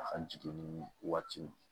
A ka jiginni waati